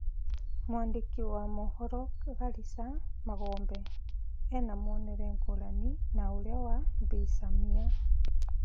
Mwandĩki wa mohoro Karisa Magombe ena mwonere ngũrani na ũrĩa wa Bi Samia.